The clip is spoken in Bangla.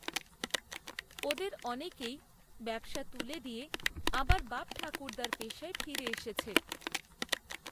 ওদের অনেকেই ব্যবসা তুলে দিয়ে আবার বাপঠাকুর্দ্দার পেশায় ফিরে এসেছে